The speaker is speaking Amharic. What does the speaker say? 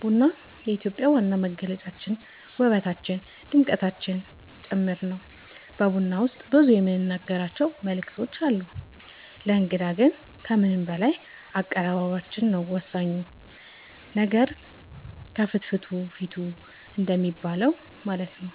ቡና የኢትዮጵያ ዋና መገለጫችን ውበታችን ድምቀታችን ጭምር ነው በቡና ውስጥ ብዙ የምንናገራቸው መልዕክት አለው ለእንግዳ ግን ከምንም በላይ አቀባበላችን ነው ወሳኙ ነገር ከፍትፍቱ ፊቱ እንደሚባለው ማለት ነው